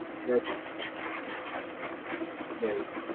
Yes, right.